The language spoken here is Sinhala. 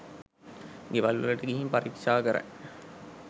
ගෙවල්වලට ගිහින් පරීක්ෂා කරයි